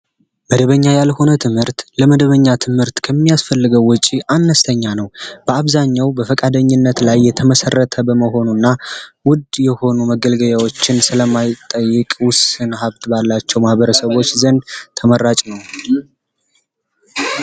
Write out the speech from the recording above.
መደበኛ ያልሆነ ትምህርት ለመደበኛ ትምህርት ከሚያስፈልገው ወጪ አነስተኛ ነው። በአብዛኛው በፈቃደኝነት ላይ የተመሰረተ በመሆኑ እና ውድ የሆኑ መገልገያዎችን ስለማይጠይቁ ውስን ሀብት ባላቸው ማኅበረሰቦች ዘንድ ተመራጭ ነው።